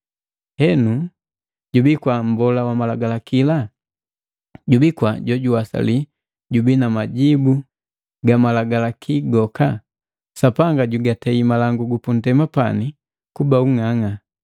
Henu jubii kwa jwana malangu? Jubi kwa mbola wa malagalakila? Jubi kwa jojuwasali jubi na majibu gamalaluki goka? Sapanga jigatei malangu gupundema pani kuba ung'ang'a.